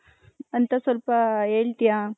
ಅಂತ ಸ್ವಲ್ಪ ಹೇಳ್ತಿಯ .